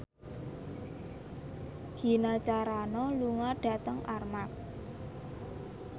Gina Carano lunga dhateng Armargh